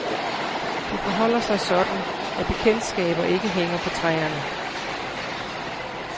Det forholder sig sådan, at bekendtskaber ikke hænger på træerne.